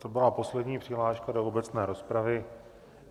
To byla poslední přihláška do obecné rozpravy.